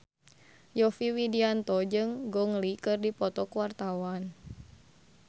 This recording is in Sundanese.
Yovie Widianto jeung Gong Li keur dipoto ku wartawan